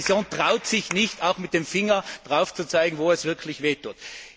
Die Kommission traut sich nicht, mit dem Finger darauf zu zeigen, wo es wirklich weh tut.